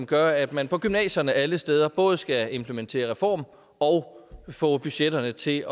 gør at man på gymnasierne alle steder både skal implementere reform og få budgetterne til